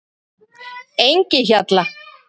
Engihjalla